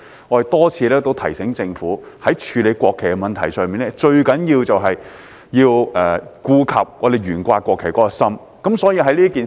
我們多次提醒政府在處理國旗的問題上，最重要的是顧及我們懸掛國旗的心意。